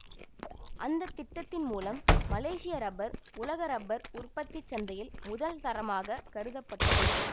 அந்த திட்டத்தின் மூலம் மலேசிய ரப்பர் உலக ரப்பர் உற்பத்தி சந்தையில் முதல் தரமாகக் கருத பட்டது